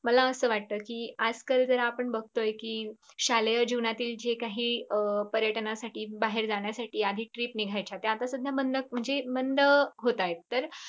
मला असं वाटत कि आजकाल जरा आपण बगतोय कि शालेय जीवनातील जे काही पर्यटनासाठी बाहेर जाण्यासाठी trip निघायच्या त्या आत्तासध्या बंद म्हणजे बंद होतायेत. तर